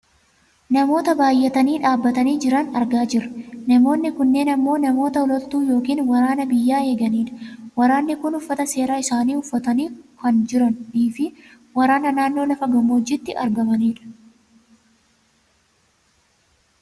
Namoota baayyatanii dhaabbatanii jiran argaa jirra. Namoonni kunneen ammoo namoota loltuu yookaan waraana biyya eegani dha. Waraanni kun uffata seeraa isaanii uffatanii kan jiraniifi waraana naannoo lafa gammoojjiitti argaamani dha.